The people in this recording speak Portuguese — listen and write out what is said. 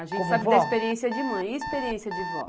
A gente sabe da experiência de mãe, e a experiência de vó?